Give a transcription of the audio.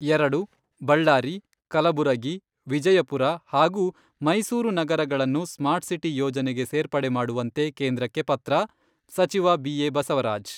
ಎರಡು, ಬಳ್ಳಾರಿ, ಕಲಬುರಗಿ, ವಿಜಯಪುರ ಹಾಗೂ ಮೈಸೂರು ನಗರಗಳನ್ನು ಸ್ಮಾರ್ಟ್ಸಿಟಿ ಯೋಜನೆಗೆ ಸೇರ್ಪಡೆ ಮಾಡುವಂತೆ ಕೇಂದ್ರಕ್ಕೆ ಪತ್ರ , ಸಚಿವ ಬಿ ಎ ಬಸವರಾಜ್.